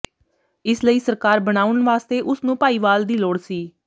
ਇਸ ਲਈ ਸਰਕਾਰ ਬਣਾਉਣ ਵਾਸਤੇ ਉਸ ਨੂੰ ਭਾਈਵਾਲ ਦੀ ਲੋੜ ਸੀ